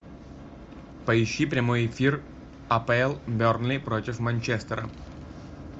поищи прямой эфир апл бернли против манчестера